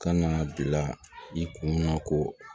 Ka na bila i kun na ko